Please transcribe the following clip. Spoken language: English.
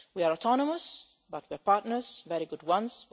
We are autonomous, but we are partners very good ones.